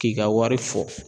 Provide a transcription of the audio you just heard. K'i ka wari fɔ